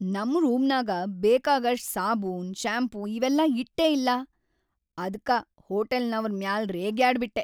ನಮ್ ರೂಮ್ನಾಗ ಬೇಕಾಗಷ್ಟ್‌ ಸಾಬೂನ್‌, ಶಾಂಪೂ ಇವೆಲ್ಲಾ ಇಟ್ಟೇ ಇಲ್ಲಾ, ಅದ್ಕ ಹೋಟಲ್‌ನವ್ರ್ ಮ್ಯಾಲ್ ರೇಗ್ಯಾಡ್ಬಿಟ್ಟೆ.